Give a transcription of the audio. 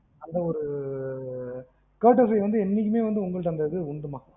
அந்த ஒரு curtessy வந்து எப்பவுமே உங்ககிட்ட உண்டு மா